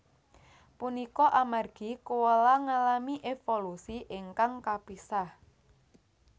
Punika amargi koala ngalami évolusi ingkang kapisah